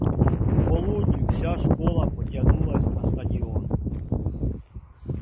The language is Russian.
к полудню вся школа потянулась на стадион